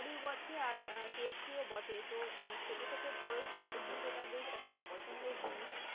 উপকারীও বটে আর আহ tasty ও বটে তো আহ ছোট থেকে বড় সবারই কিন্তু এটা বেশ একটা পছন্দের জিনিস।